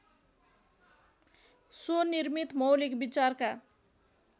स्वनिर्मित मौलिक विचारका